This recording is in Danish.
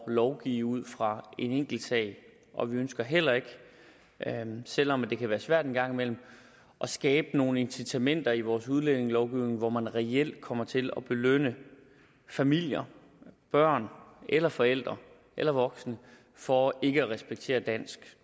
at lovgive ud fra en enkeltsag og vi ønsker heller ikke selv om det kan være svært en gang imellem at skabe nogle incitamenter i vores udlændingelovgivning hvor man reelt kommer til at belønne familier børn eller forældre eller voksne for ikke at respektere dansk